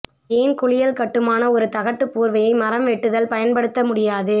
ஏன் குளியல் கட்டுமானப் ஒரு தகட்டு போர்வையை மரம் வெட்டுதல் பயன்படுத்த முடியாது